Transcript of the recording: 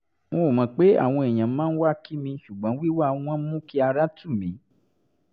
n ò mọ̀ pé àwọn èèyàn máa wá kí mi ṣùgbọ́n wíwá wọn mú kí ara tù mí